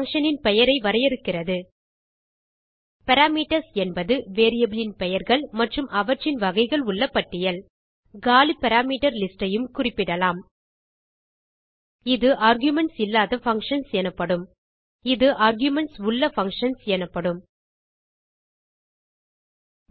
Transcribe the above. function ன் பெயரை வரையறுக்கிறது பாராமீட்டர்ஸ் என்பது வேரியபிள் ன் பெயர்கள் மற்றும் அவற்றின் வகைகள் உள்ள பட்டியல் காலி பாராமீட்டர் லிஸ்ட் ஐயும் குறிப்பிடலாம் இது ஆர்குமென்ட்ஸ் இல்லாத பங்ஷன்ஸ் எனப்படும் இது ஆர்குமென்ட்ஸ் உள்ள பங்ஷன்ஸ் எனப்படும்